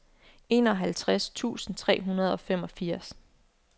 enoghalvtreds tusind tre hundrede og femogfirs